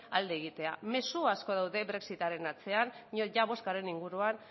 alde egitea mezu asko daude brexitaren atzean diot ia bozkaren inguruan